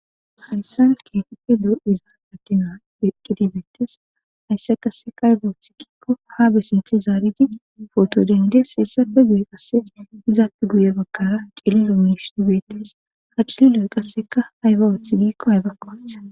Hayssan kepi do iza akina beqqidibetes haysse qasseka hayba wooththi gikko ha bessinchi zaaridi poto dendes heessafe guye qasse izaappe guye bakkara cililo minishi beetes ha cililo qasseka ayba woothi giikko haybakka othana.